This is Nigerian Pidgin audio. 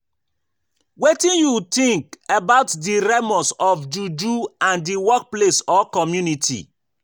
Wetin you think about di remors of juju in di workplace or community?